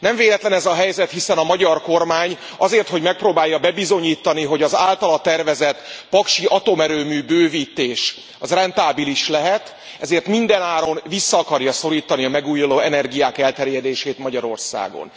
Nem véletlen ez a helyzet, hiszen a magyar kormány azért, hogy megpróbálja bebizonyítani, hogy az általa tervezett paksi atomerőmű bővítés rentábilis lehet, mindenáron vissza akarja szorítani a megújuló energiák elterjedését Magyarországon.